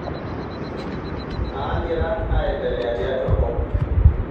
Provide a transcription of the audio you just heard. naangira aendelea tiatua enkop